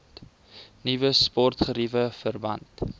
nuwe sportgeriewe verband